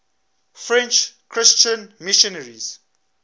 french christian missionaries